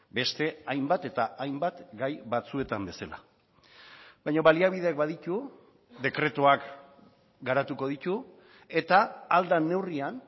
beste hainbat eta hainbat gai batzuetan bezala baina baliabideak baditu dekretuak garatuko ditu eta ahal den neurrian